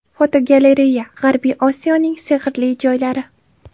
Fotogalereya: G‘arbiy Osiyoning sehrli joylari.